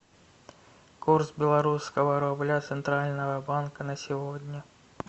курс белорусского рубля центрального банка на сегодня